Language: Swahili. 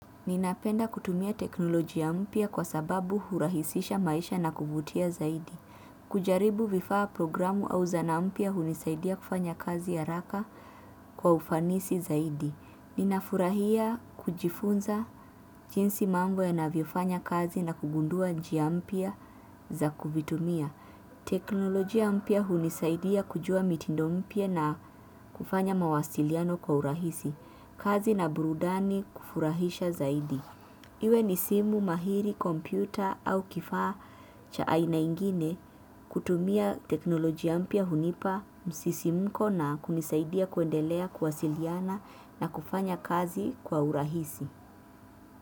Ninapenda kutumia teknolojia mpya kwa sababu hurahisisha maisha na kuvutia zaidi. Kujaribu vifaa, programu au za na mpya hunisaidia kufanya kazi haraka kwa ufanisi zaidi. Ninafurahia kujifunza jinsi mambo ya navyofanya kazi na kugundua njia mpya za kuvitumia. Teknolojia mpya hunisaidia kujua mitindo mpya na kufanya mawasiliano kwa hurahisi. Kazi na burudani kufurahisha zaidi. Iwe ni simu mahiri, kompyuta au kifaa cha aina ingine kutumia teknolojia mpya hunipa msisimko na kunisaidia kuendelea kuwasiliana na kufanya kazi kwa urahisi.